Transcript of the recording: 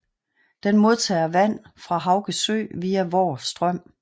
Den modtager vand fra Hauge Sø via Voer Strøm